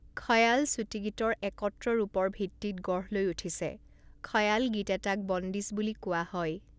খয়াল চুটি গীতৰ একত্ৰ ৰূপৰ ভিত্তিত গঢ় লৈ উঠিছে; খয়াল গীত এটাক বন্দীশ বুলি কোৱা হয়।